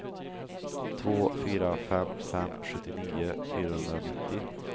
två fyra fem fem sjuttionio fyrahundranittio